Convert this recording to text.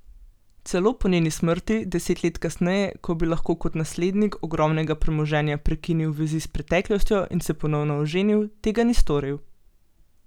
Celo po njeni smrti, deset let kasneje, ko bi lahko kot naslednik ogromnega premoženja prekinil vezi s preteklostjo in se ponovno oženil, tega ni storil.